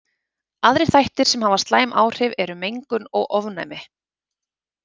Aðrir þættir sem hafa slæm áhrif eru mengun og ofnæmi.